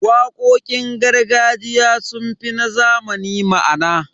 Waƙoƙin gargajiya sun fi na zamani ma'ana.